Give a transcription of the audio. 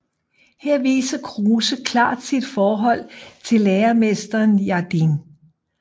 Her viser Kruuse klart sit forhold til læremesteren Jardin